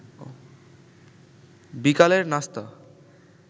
বিকালের নাস্তা